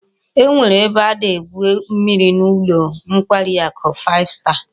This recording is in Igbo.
E nwere ebe a na-egwu mmiri n'ulo nkwari aku five star